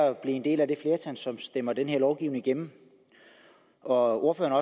at blive en del af det flertal som stemmer den her lovgivning igennem ordføreren